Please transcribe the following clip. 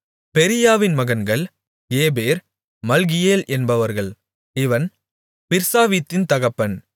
பெரீயாவின் மகன்கள் Heber Malchiel என்பவர்கள் இவன் பிர்சாவீத்தின் தகப்பன்